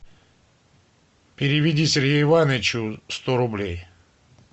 переведи сергею ивановичу сто рублей